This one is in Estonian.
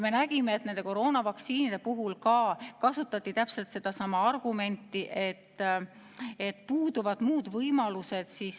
Me nägime, et koroonavaktsiinide puhul kasutati täpselt sedasama argumenti, et puuduvad muud võimalused.